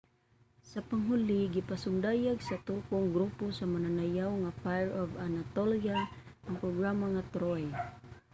sa panghuli gipasundayag sa turkong grupo sa mananayaw nga fire of anatolia ang programa nga ''troy''